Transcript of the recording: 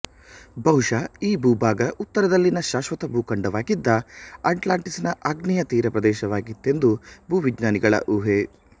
ಬಹುಶಃ ಈ ಭೂಭಾಗ ಉತ್ತರದಲ್ಲಿನ ಶಾಶ್ವತ ಭೂಖಂಡವಾಗಿದ್ದ ಅಟ್ಲಾಂಟಿಸ್ಸಿನ ಆಗ್ನೇಯ ತೀರಪ್ರದೇಶವಾಗಿತ್ತೆಂದೂ ಭೂ ವಿಜ್ಞಾನಿಗಳ ಊಹೆ